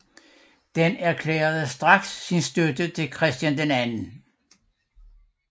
Den erklærede straks sin støtte til Christian 2